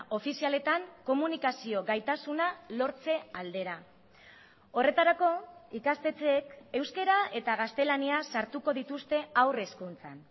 ofizialetan komunikazio gaitasuna lortze aldera horretarako ikastetxeek euskara eta gaztelaniaz sartuko dituzte haur hezkuntzan